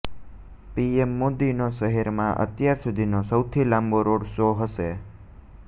PM મોદીનો શહેરમાં અત્યાર સુધીનો સૌથી લાંબો રોડ શો હશે